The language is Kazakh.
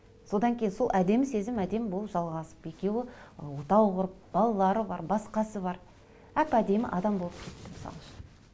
содан кейін сол әдемі сезім әдемі болып жалғасып екеуі отау құрып балалары бар басқасы бар әп әдемі адам болып кетті мысал үшін